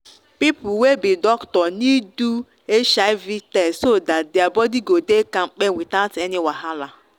people wey be doctor need do hiv test so that their body go dey kampe without any wahala.